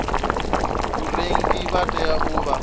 vharengi vha tea u vha